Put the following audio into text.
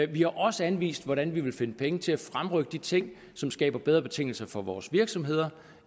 vi har også anvist hvordan vi vil finde penge til at fremrykke de ting som skaber bedre betingelser for vores virksomheder